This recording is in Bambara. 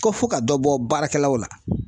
Ko fɔ ka dɔ bɔ baarakɛlaw la